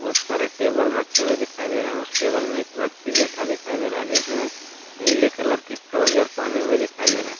बहुत सारे टेबल रखे हुए दिखाई दे रहा है उस टेबल में एक व्यक्ति बैठा दिखाई दे रहा है जिसने नीले कलर के ट्राउजर पहने हुए दिखाई दे रहा है।